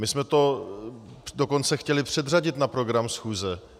My jsme to dokonce chtěli předřadit na program schůze.